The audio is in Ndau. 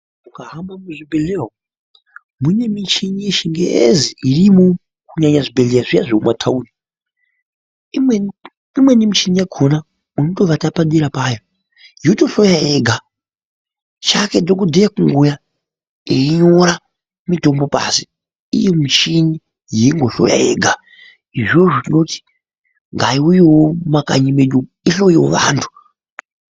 Ukahamba muzvibhedhleya umo, mune michini yechingezi irimwo, kunyanya zvibhedhleya zviya zvekumataundi. Imweni, imweni michini yakona unotovata padera payo, yotohloya yega, chake dhokodheya kungouya einyora mitombo pasi, iyo michini yeingohloya yega. Izvozvo toda kuti ngaiuyewo mumakanyi mwedu umwo ihloyewo vantu.